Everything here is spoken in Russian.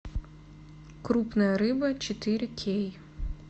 крупная рыба четыре кей